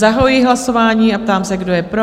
Zahajuji hlasování a ptám se, kdo je pro?